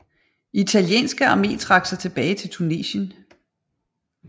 Italienske Arme trak sig tilbage til Tunesien